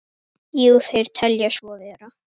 Jú, þeir telja svo vera.